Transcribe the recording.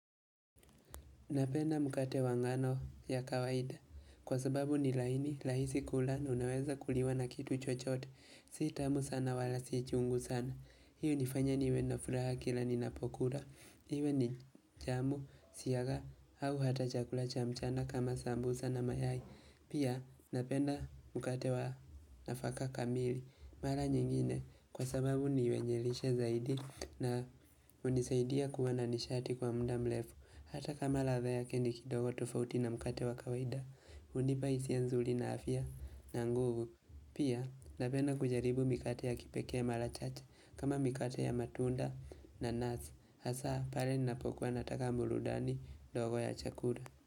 Napenda mkate wa ngano ya kawaida. Kwa sababu ni laini, rahisi kula, unaweza kuliwa na kitu chochote. Si tamu sana wala si chungu sana. Hii hinifanya niwe na furaha kila ni napokula. Iwe ni jamu, siyagi, au hata chakula cha mchana kama sambusa na mayai. Pia napenda mkate wanafaka kamili. Mara nyingine kwa sababu niwe njelishe zaidi na hunisaidia kuwa na nishati kwa muda mrefu. Hata kama ladha yake ni kidogo tofauti na mkate wa kawaida, hunipa hisia nzuri na afya na nguvu Pia, napenda kujaribu mikate ya kipekee ya mara chache kama mikate ya matunda nanasi, hasa pale ninapokuwa nataka burudani ndogo ya chakula.